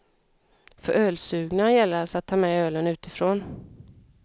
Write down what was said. För ölsugna gäller alltså att ta med ölen utifrån.